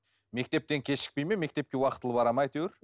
мектептен кешікпей ме мектепке уақтылы бара ма әйтеуір